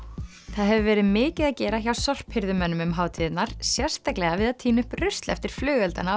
það hefur verið mikið að gera hjá sorphirðumönnum um hátíðirnar sérstaklega við að tína upp rusl eftir flugeldana á